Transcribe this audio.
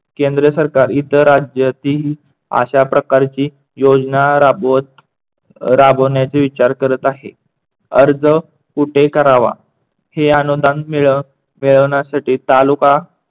केंद्र सरकार इतर राज्यातील अश्या प्रकारची योजना राबवत राबवण्याची विचार करत आहे. अर्ज कुठे करावा हे अनुदान मिळवण्यासाठी तालुका